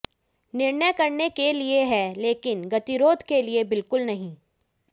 निर्णय करने के लिए है लेकिन गतिरोध के लिए बिलकुल नहीं